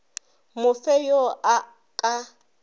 mo fe yo a ka